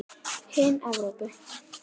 Hin Evrópu